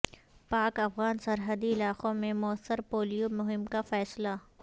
پاک افغان سرحدی علاقوں میں موثر پولیو مہم کا فیصلہ